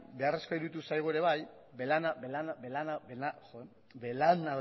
beharrezkoa iruditu zaigu ere bai